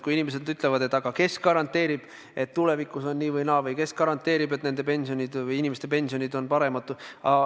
Inimesed küsivad, aga kes garanteerib, et tulevikus on nii või naa, või kes garanteerib, et inimeste pensionid on paremad.